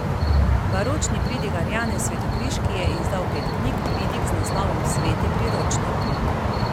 Baročni pridigar Janez Svetokriški je izdal pet knjig pridig z naslovom Sveti priročnik.